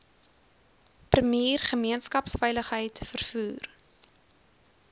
premier gemeenskapsveiligheid vervoer